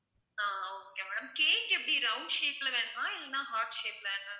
ஆஹ் okay madam cake எப்படி round shape ல வேணுமா இல்ல heart shape ல வேணுமா